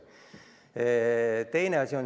Nüüd teine asi.